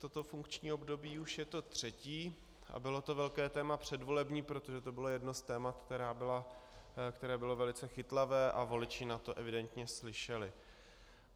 Toto funkční období už je to třetí a bylo to velké téma předvolební, protože to bylo jedno z témat, které bylo velice chytlavé a voliči na to evidentně slyšeli.